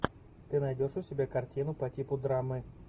ты найдешь у себя картину по типу драмы